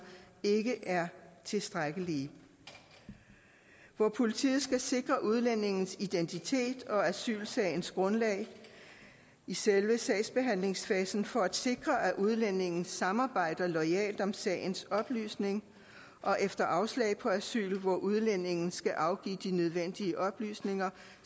ikke er tilstrækkelige hvor politiet skal sikre udlændingens identitet og asylsagens grundlag i selve sagsbehandlingsfasen for at sikre at udlændingen samarbejder loyalt om sagens oplysning og efter afslag på asyl hvor udlændingen skal afgive de nødvendige oplysninger